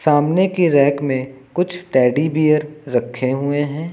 सामने की रैक में कुछ टेडी बीयर रखे हुए है।